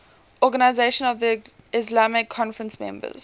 organisation of the islamic conference members